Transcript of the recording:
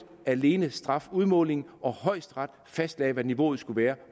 alene strafudmålingen og højesteret fastlagde hvad niveauet skulle være